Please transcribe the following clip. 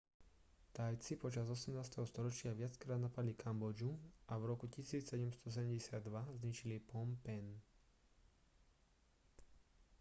thajci počas 18. storočia viackrát napadli kambodžu a v roku 1772 zničili phnom phen